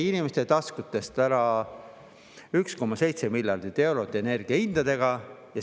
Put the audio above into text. Inimeste taskutest võeti energiahindadega ära 1,7 miljardit eurot.